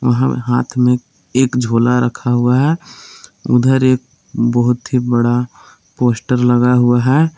हाथ में एक झोला रखा हुआ है उधर एक बहुत ही बड़ा पोस्टर लगा हुआ है।